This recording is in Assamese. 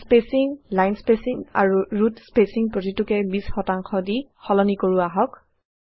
আমি স্পেচিং লাইন স্পেচিং আৰু ৰুট স্পেচিং প্ৰতিটোকে ২০ শতাংশ দিসলনি কৰো আহক